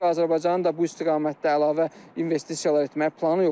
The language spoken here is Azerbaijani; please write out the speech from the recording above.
Azərbaycanın da bu istiqamətdə əlavə investisiyalar etmək planı yoxdur.